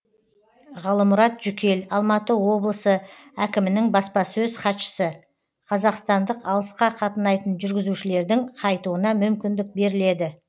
ғалымұрат жүкел алматы облысы әкімінің баспасөз хатшысы қазақстандық алысқа қатынайтын жүргізушілердің қайтуына мүмкіндік беріледі